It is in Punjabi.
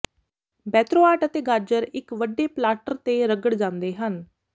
ਬੇਤ੍ਰੋਆਟ ਅਤੇ ਗਾਜਰ ਇੱਕ ਵੱਡੇ ਪਲਾਟਰ ਤੇ ਰਗੜ ਜਾਂਦੇ ਹਨ